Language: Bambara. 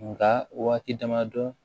Nka waati dama dɔ